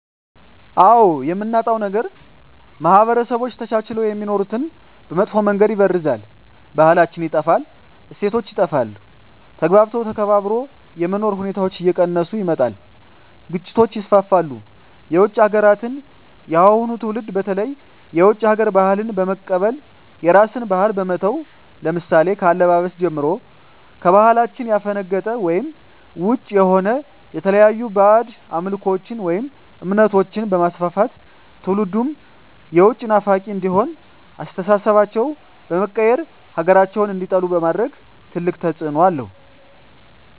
አዎ የምናጣዉ ነገር ማህበረሰቦች ተቻችለዉ የሚኖሩትን በመጥፋ መንገድ ይበርዛል ባህላችን ይጠፋል እሴቶች ይጠፋል ተግባብቶ ተከባብሮ የመኖር ሁኔታዎች እየቀነሰ ይመጣል ግጭቶች ይስፍፍሉ የዉጭ ሀገራትን የአሁኑ ትዉልድ በተለይ የዉጭ ሀገር ባህልን በመቀበል የራስን ባህል በመተዉ ለምሳሌ ከአለባበስጀምሮ ከባህላችን ያፈነቀጠ ወይም ዉጭ የሆነ የተለያዩ ባእጅ አምልኮችን ወይም እምነቶችንበማስፍፍት ትዉልዱም የዉጭ ናፋቂ እንዲሆን አስተሳሰባቸዉ በመቀየር ሀገራቸዉን እንዲጠሉ በማድረግ ትልቅ ተፅዕኖ አለዉ